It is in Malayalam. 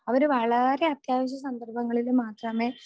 അവർ വളരെ അത്യാവശ്യ സന്ദർഭങ്ങളിൽ മാത്രമേ